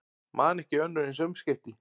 Man ekki önnur eins umskipti